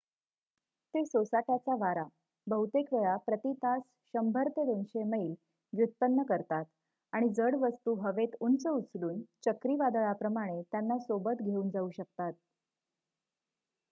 ते सोसाट्याचा वारा बहुतेक वेळा प्रती तास 100-200 मैल व्युत्पन्न करतात आणि जड वस्तू हवेत उंच उचलून चक्रीवादळाप्रमाणे त्यांना सोबत घेऊन जाऊ शकतात